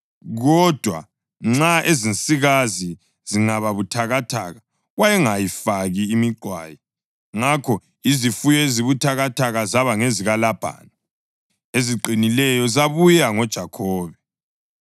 kodwa nxa ezinsikazi zingezibuthakathaka wayengayifaki imiqwayi. Ngakho izifuyo ezibuthakathaka zaba ngezikaLabhani, eziqinileyo zabuya ngoJakhobe.